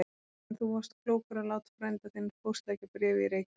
En þú varst klókur að láta frænda þinn póstleggja bréfið í Reykjavík.